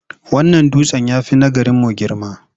Wannan dutsen ya fi na garimu girma.